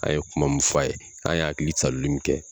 An ye kuma mun f'a ye an y'a hakili saloli min kɛ